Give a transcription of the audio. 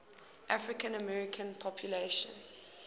african american population